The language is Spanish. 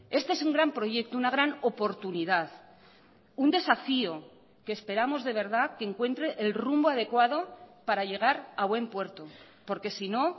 este es un gran proyecto una gran oportunidad un desafío que esperamos de verdad que encuentre el rumbo adecuado para llegar a buen puerto porque si no